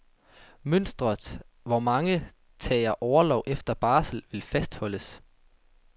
Mønstret, hvor mange tager orlov efter barsel, vil fastholdes.